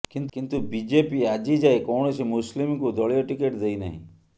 କିନ୍ତୁ ବିଜେପି ଆଜି ଯାଏ କୌଣସି ମୁସ୍ଲିମଙ୍କୁ ଦଳୀୟ ଟିକେଟ୍ ଦେଇନାହିଁ